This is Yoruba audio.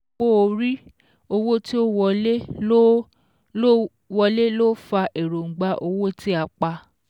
Owó orí owó tí ó wọlé ló ó wọlé ló fa èròǹgbà owó tí a pa